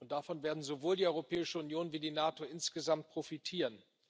Davon werden sowohl die Europäische Union als auch die NATO insgesamt profitieren.